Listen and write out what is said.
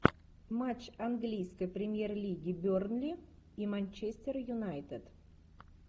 матч английской премьер лиги бернли и манчестер юнайтед